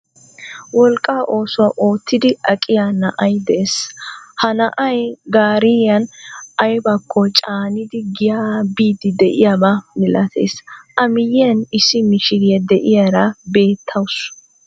Wolqqa oosuwa oottidi aqqiya na'ay de'ees. Ha na'ay gaariyan aybakko caanidi giyaa biiddi de'iyaba milatees. A miyan issi mishiriya de'iyara beettawusu.